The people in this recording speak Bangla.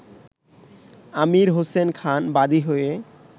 আমীর হোসেন খান বাদী হয়ে